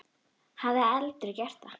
Hafði aldrei gert það.